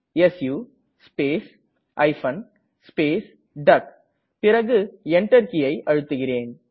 சு space hyphen space டக் பிறகு Enter கீயை அழுத்துகிறேன்